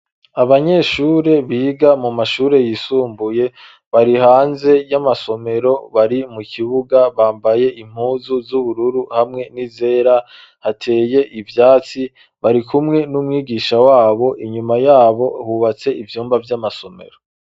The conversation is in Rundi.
Abanyeshure biga mu mashure yisumbuye. Bari hanze y'amasomero bari mu kibuga bambaye impuzu z'ubururu hamwe n'izera hateye ivyatsi bari kumwe n'umwigisha wabo inyuma yabo hubatse ivyumba vy'amasomero.